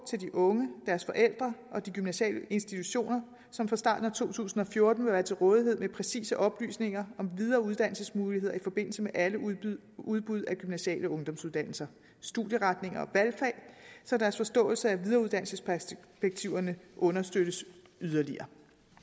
til de unge deres forældre og de gymnasiale institutioner som fra starten af to tusind og fjorten vil være til rådighed med præcise oplysninger om videreuddannelsesmuligheder i forbindelse med alle udbud udbud af gymnasiale ungdomsuddannelser studieretninger og valgfag så deres forståelse af videreuddannelsesperspektiverne understøttes yderligere